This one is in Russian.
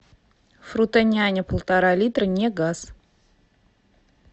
фрутоняня полтора литра негаз